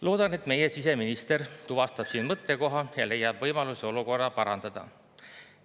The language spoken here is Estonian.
Loodan, et meie siseminister tuvastab siin mõttekoha ja leiab võimaluse olukorda parandada.